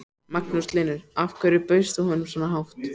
Magnús Hlynur: Af hverju bauðst þú svona hátt?